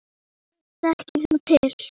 Þekkir þú til?